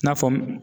I n'a fɔ